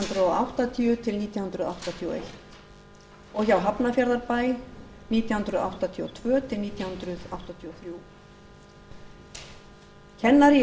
hundruð áttatíu til nítján hundruð áttatíu og eins og hjá hafnarfjarðarbæ nítján hundruð áttatíu og tvö til nítján hundruð áttatíu og þrjú kennari í